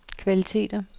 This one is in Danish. kvaliteter